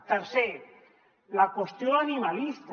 tercer la qüestió animalista